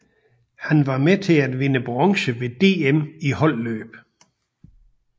Her var han med til at vinde bronze ved DM i holdløb